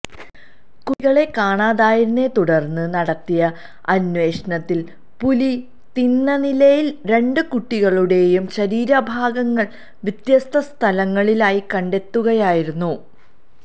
കുട്ടികളെ കാണാതായതിനെ തുടര്ന്നു നടത്തിയ അന്വേഷണത്തില് പുലി തിന്നനിലയില് രണ്ടു കുട്ടികളുടേയും ശരീരഭാഗങ്ങള് വ്യത്യസ്ഥ സ്ഥലങ്ങളിലായി കണ്ടെത്തുകയായിരുന്നു